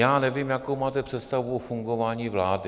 Já nevím, jakou máte představu o fungování vlády.